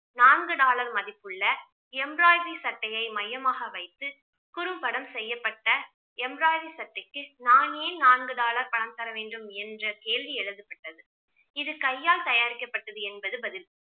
நான்கு dollar மதிப்புள்ள embroidery சட்டையை மையமாக வைத்து குறும்படம் செய்யப்பட்ட எம்ராய்டரி சட்டைக்கு நான் ஏன் நான்கு dollar பணம் தர வேண்டும் என்ற கேள்வி எழுப்பப்பட்டது. இது கையால் தயாரிக்கப்பட்டது என்பது பதில்